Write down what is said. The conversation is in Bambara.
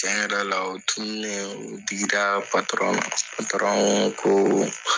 Tiɲɛ yɛrɛ la o tununnen, o digiraa na koo